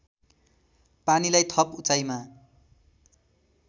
पानीलाई थप उचाइमा